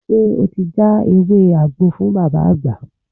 Ṣé o ti já ewé àgbo fún Bàbá Àgbà?